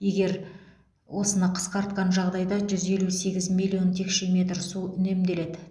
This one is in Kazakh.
егер осыны қысқартқан жағдайда жүз елу сегіз миллион текше метр су үнемделеді